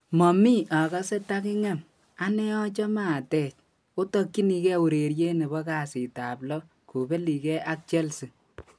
"Momii agase taging'em, anee achome atech, Otokyinigei Ureriet nebo kasitab lo kobeligei ak Chelsea."